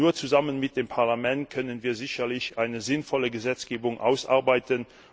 Nur zusammen mit dem Parlament können wir eine sinnvolle Gesetzgebung ausarbeiten.